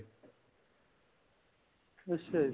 ਅੱਛਾ ਜੀ